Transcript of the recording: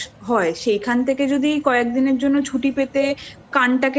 হয় সেইখান থেকে যদি কয়েক দিনের জন্য ছুটি পেতে